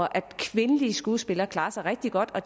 at kvindelige skuespillere klarer sig rigtig godt og